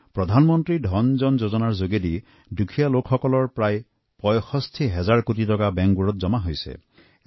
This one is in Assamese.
প্ৰধানমন্ত্ৰী জন ধন যোজনাত আমাৰ দেশৰ দুখীয়া মানুহৰ প্ৰায় ৬৫ হাজাৰ কোটি টকা জমা কৰিছে